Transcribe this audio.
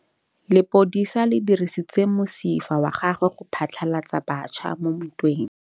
Lepodisa le dirisitse mosifa wa gagwe go phatlalatsa batšha mo ntweng.